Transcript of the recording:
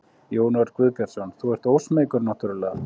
Jón Örn Guðbjartsson: Þú ert ósmeykur náttúrlega?